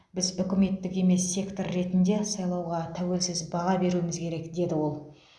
біз үкіметтік емес сектор ретінде сайлауға тәуелсіз баға беруіміз керек деді ол